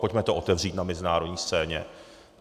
Pojďme to otevřít na mezinárodní scéně.